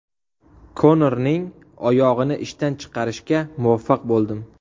Konorning oyog‘ini ishdan chiqarishga muvaffaq bo‘ldim.